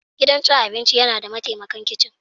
Gidan cin abinci yana da mataimakan kicin.